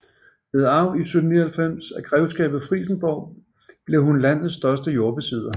Ved arv i 1799 af Grevskabet Frijsenborg blev hun landets største jordbesidder